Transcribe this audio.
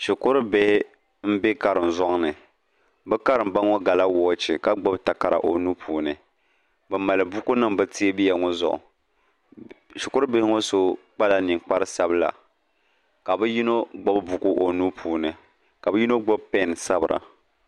shikurubihi m-be kariŋzɔŋ ni bɛ Karimba ŋɔ gala wɔɔchi ka takara o nuu puuni bɛ mali bukunima bɛ teebuya ŋɔ zuɣu shikurubihi ŋɔ so kpala niŋkpar'sabila ka bɛ yino gbubi buku o nuu puuni ka bɛ yino gbubi pɛɛn sabira